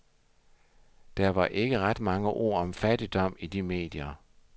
Der var ikke ret mange ord om fattigdom i de medierne.